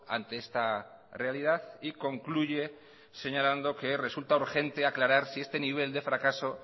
ante esta realidad y concluye señalando que resulta urgente aclarar si este nivel de fracaso